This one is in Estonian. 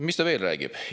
Mis ta veel räägib?